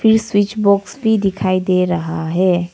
ई switch box भी दिखाई दे रहा है।